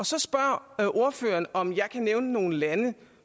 så spørger ordføreren om jeg kan nævne nogle lande